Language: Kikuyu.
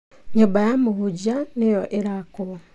Nyũmba ya mũhunjia nĩyo ĩrakwo.